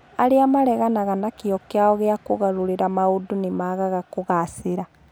Arĩa mareganaga na kĩyo kĩao gĩa kũgarũrĩra maũndũ nĩ maagaga kũgaacĩra.